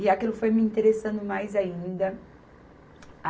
E aquilo foi me interessando mais ainda.